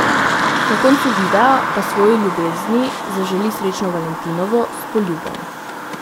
Na koncu videa pa svoji ljubezni zaželi srečno valentinovo s poljubom.